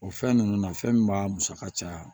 O fɛn ninnu na fɛn min b'a musaka caya